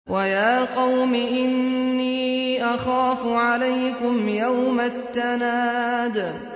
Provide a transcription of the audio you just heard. وَيَا قَوْمِ إِنِّي أَخَافُ عَلَيْكُمْ يَوْمَ التَّنَادِ